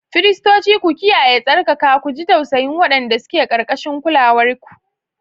Firistoci, ku kiyaye tsarkaka, ku ji tausayin waɗanda suke ƙarƙashin kulawarku.